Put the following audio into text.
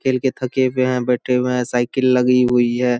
खेल के थके हुए हैं बैठे हुए हैं साइकिल लगी हुई हैं |